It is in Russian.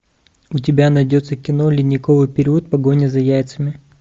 у тебя найдется кино ледниковый период погоня за яйцами